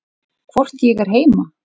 Hvort ég er heima?